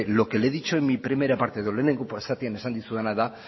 lo que le he dicho en mi primera parte lehenengo zatian esan dizudana da